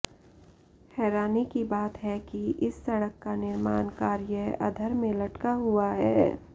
हैरानी की बात है कि इस सड़क का निर्माण कार्य अधर में लटका हुआ है